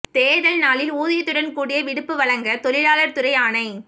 தோ்தல் நாளில் ஊதியத்துடன் கூடிய விடுப்பு வழங்கத் தொழிலாளா் துறை ஆணை